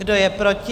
Kdo je proti?